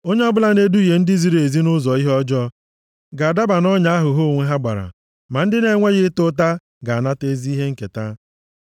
Onye ọbụla na-eduhie ndị ziri ezi nʼụzọ ihe ọjọọ, ga-adaba nʼọnya ahụ ha onwe ha gbara, ma ndị na-enweghị ịta ụta ga-anata ezi ihe nketa.